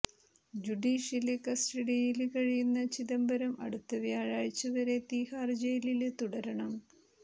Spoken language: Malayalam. ജുഡീഷ്യല് കസ്റ്റഡിയില് കഴിയുന്ന ചിദംബരം അടുത്ത വ്യാഴാഴ്ച വരെ തീഹാര് ജയിലില് തുടരണം